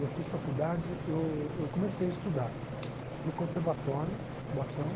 Eu fiz faculdade, eu eu comecei a estudar no conservatório, em Cubatão.